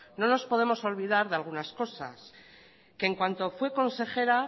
no nos podemos olvidar de algunas cosas en cuanto fue consejera